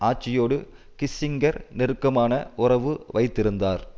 ஆட்சியோடு Kissinger நெருக்கமான உறவு வைத்திருந்தார்